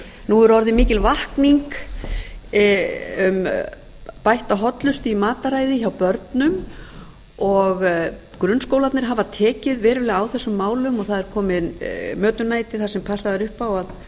nú er orðin mikil vakning um bætta hollustu í mataræði hjá börnum og grunnskólarnir hafa tekið verulega á þessum málum og það er komið mötuneyti þar sem passað er upp á